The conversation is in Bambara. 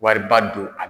Wariba don a